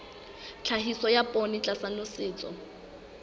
tlhahiso ya poone tlasa nosetso